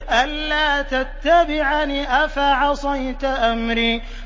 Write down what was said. أَلَّا تَتَّبِعَنِ ۖ أَفَعَصَيْتَ أَمْرِي